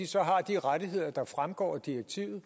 så har de rettigheder der fremgår af direktivet